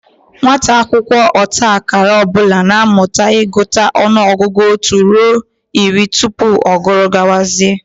Nwata akwụkwọ ọta akara ọ bụla na-amụta ịgụta ọnụọgụgụ otu ruo iri tupu ọ guru gawazie